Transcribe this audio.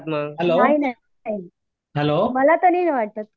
hello hello